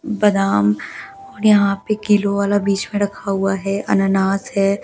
बदाम यहां पे किलो वाला बीच में रखा हुआ है अनानस है ।